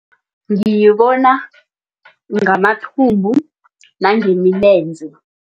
Ngiyibona ngamathumbu nangemilenze.